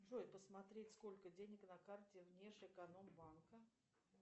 джой посмотреть сколько денег на карте внешэкономбанка